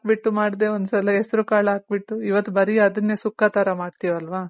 ಹಾಕ್ ಬಿಟ್ಟು ಮಾಡ್ದೆ ಒಂದ್ ಸಲ ಹೆಸರ್ ಕಾಳು ಹಾಕ್ ಬಿಟ್ಟು ಇವತ್ತು ಬರಿ ಅದನ್ನೇ ಸುಕ್ಕ ತರ ಮಾಡ್ತಿವಲ್ವ .